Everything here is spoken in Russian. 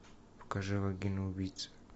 покажи вагина убийца